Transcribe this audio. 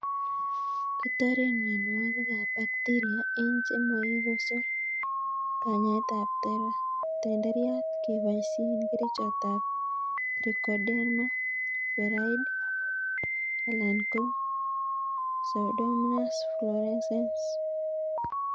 Kitoren mionwokikab bacteria en chemoikosor kanyaetab tenderriat keboisien kerichotab Trichoderma viride (4g/kg) alan ko Pseudomonas fluorescens 10g/kg.